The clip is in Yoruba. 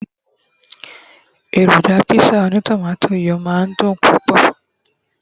eroja pizza oni tomato yíò ma dùn púpò